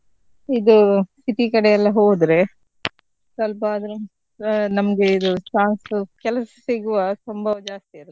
ಇದು city ಕಡೆಯೆಲ್ಲ ಹೋದ್ರೆ ಸ್ವಲ್ಪ ಆದ್ರು ನಮ್ಗೆ ಇದು chance ಕೆಲಸ ಸಿಗುವ ಸಂಭವ ಜಾಸ್ತಿ ಇರತ್ತೆ.